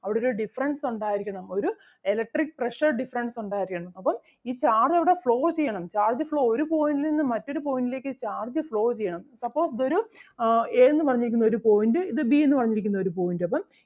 അവിടൊരു difference ഉണ്ടായിരിക്കണം അവിടൊരു electric pressure difference ഉണ്ടായിരിക്കണം അപ്പം ഈ charge അവിടെ flow ചെയ്യണം charge flow ഒരു point ൽ നിന്നും മറ്റൊരു point ലേക്ക് charge flow ചെയ്യണം. supppose ഇതൊരു ആഹ് A എന്ന് പറഞ്ഞിരിക്കുന്ന ഒരു point ഇത് B എന്ന് പറഞ്ഞിരിക്കുന്ന ഒരു point അപ്പം